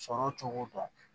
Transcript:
Sɔrɔ cogo dɔn